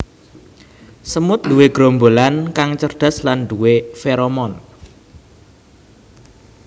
Semut nduwe gerombolan kang cerdas lan nduwé feromon